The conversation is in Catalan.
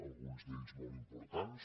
alguns d’ells molt importants